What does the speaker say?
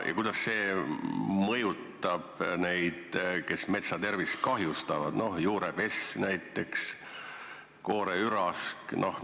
Ja kuidas see mõjutab neid, kes metsa tervist kahjustavad, näiteks juurepessu tekitajat, kooreüraskit?